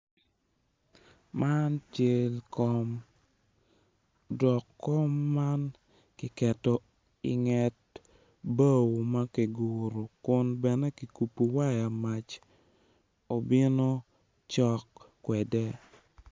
Man cal kom dok kom man kiketo inget bao ma kiguro kun bene kikubo waya mac obino cok kwede.